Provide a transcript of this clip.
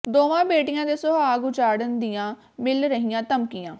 ਦੋਵਾਂ ਬੇਟੀਆਂ ਦੇ ਸੁਹਾਗ ਉਜਾੜਨ ਦੀਆਂ ਮਿਲ ਰਹੀਆਂ ਧਮਕੀਆਂ